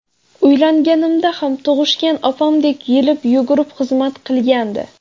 Uylanganimda ham tug‘ishgan opamdek yelib-yugurib xizmat qilgandi.